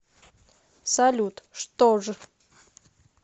салют что ж